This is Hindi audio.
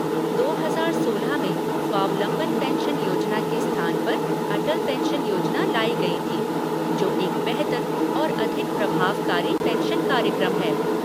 दो हजार सोलह में स्वावलंबन पेंशन योजना के स्थान पर अटल पेंशन योजना लाई गई थी, जो एक बेहतर और अधिक प्रभावकारी पेंशन कार्यक्रम है।